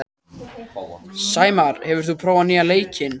Sæmar, hefur þú prófað nýja leikinn?